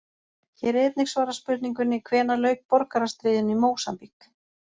Hér er einnig svarað spurningunni: Hvenær lauk borgarastríðinu í Mósambík?